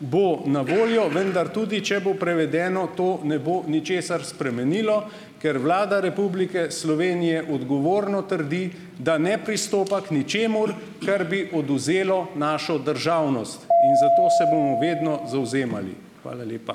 bo na voljo, vendar tudi, če bo prevedeno, to ne bo ničesar spremenilo, ker Vlada Republike Slovenije odgovorno trdi, da ne pristopa k ničemur, kar bi odvzelo našo državnost in zato se bomo vedno zavzemali. Hvala lepa.